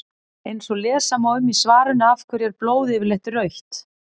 eins og lesa má um í svarinu af hverju er blóð yfirleitt rautt